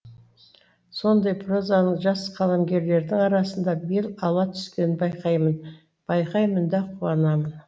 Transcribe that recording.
сондай прозаның жас қаламгерлердің арасында бел ала түскенін байқаймын байқаймын да қуанамын